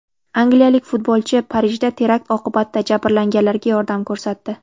Angliyalik futbolchi Parijda terakt oqibatida jabrlanganlarga yordam ko‘rsatdi.